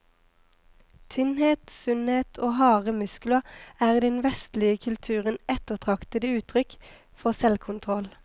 Tynnhet, sunnhet og harde muskler er i den vestlige kulturen ettertraktede uttrykk for selvkontroll.